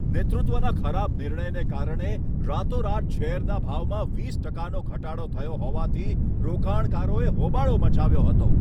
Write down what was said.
નેતૃત્વના ખરાબ નિર્ણયને કારણે રાતોરાત શેરના ભાવમાં વીસ ટકાનો ઘટાડો થયો હોવાથી રોકાણકારોએ હોબાળો મચાવ્યો હતો.